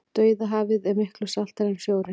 dauðahafið er miklu saltara en sjórinn